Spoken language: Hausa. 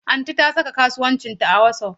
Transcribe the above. Aunty ta saka kasuwancinta a WhatsApp.